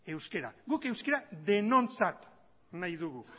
euskara guk euskara denontzat nahi dugu